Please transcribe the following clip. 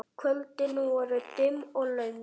Kvöldin voru dimm og löng.